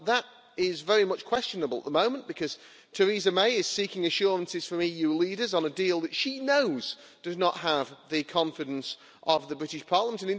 Well that is very much questionable at the moment because Theresa May is seeking assurances from EU leaders on a deal that she knows does not have the confidence of the British Parliament.